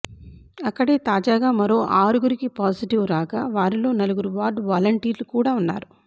అక్కడే తాజాగా మరో ఆరుగురికి పాజిటివ్ రాగా వారిలో నలుగురు వార్డు వలంటీర్లు కూడా ఉన్నారు